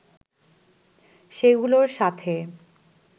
সেগুলোর সাথে